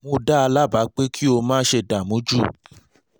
mo dá a lábàá pé kí o má ṣe dààmú jù